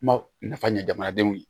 Ma nafa ɲɛ jamanadenw ye